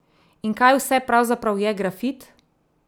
In kaj vse pravzaprav je grafit?